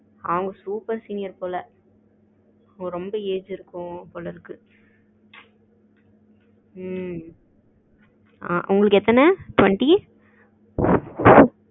அவங்க group ல senior போல ரொம்ப age இருக்கும் போல இருக்கு. ம் உங்களுக்கு எத்தன twenty